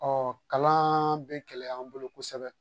kalan bɛ gɛlɛya an bolo kosɛbɛ.